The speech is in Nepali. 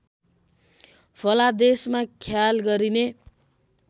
फलादेशमा ख्याल गरिने